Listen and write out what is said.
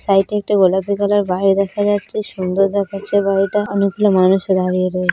সাইডে একটা গোলাপী কালার বাড়ি দেখা যাচ্ছে সুন্দর দেখাচ্ছে বাড়িটা অনেক মানুষের দাঁড়িয়ে রয়েছে।